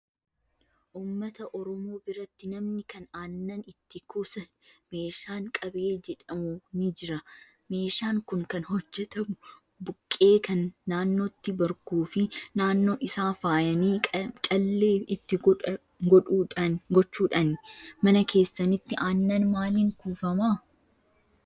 Uummata oromoo biratti namni kan aannan itti kuusan meeshaan qabee jedhamu ni jira. Meeshaan kun kan hojjatamu buqqee kan naannootti marguu fi naannoo isaa faayanii callee itti gochuudhaani. Mana keessanitti aannan maaliin kuufamaa?